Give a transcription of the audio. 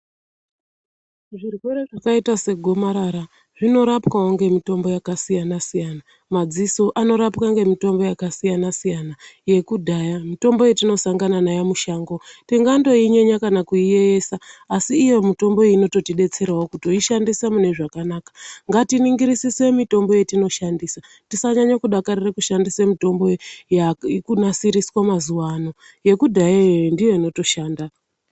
Zvirwere zvakaita segomarara zvinorapwawo ngemitombo yakasiyana siyana , madziso anorapwa ngemitombo yakasiyana siyana yekudhaya mitombo yatinosangana nayo mushango tingandoinyenya kana kuiyeisa asi iyo mitombo inototidetserawo kutoishandisa mune zvakanaka ngatiningirisise mitombo yatinoshandisa tisanyanye kudakarire kushandisa mitombo irikunasiriswa mazuwano yekudhaya iyoyo ndiyoninotoshanda.